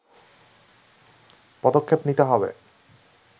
পদক্ষেপ নিতে হবে